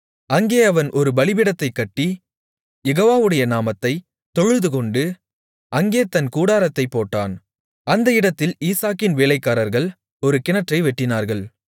அங்கே அவன் ஒரு பலிபீடத்தைக் கட்டி யெகோவாவுடைய நாமத்தைத் தொழுதுகொண்டு அங்கே தன் கூடாரத்தைப் போட்டான் அந்த இடத்தில் ஈசாக்கின் வேலைக்காரர்கள் ஒரு கிணற்றை வெட்டினார்கள்